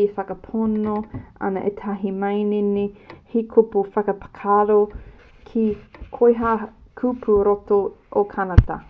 e whakapono ana ētahi manene he kupu whakaparahako kē koia pū ki roto o kānata